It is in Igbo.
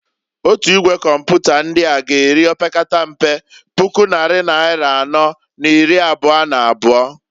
Otu Igwe Kọmpụta ndịa g'eri opekatampe puku nnari naịra anọọ n'iri abụa n'abụa.